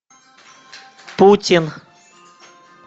путин